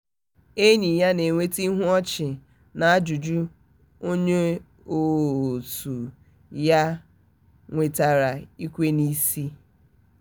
enyi ya na-enweta ihu ọchị na ajụjụ onye otu ya nwetara ikwe n'isi. um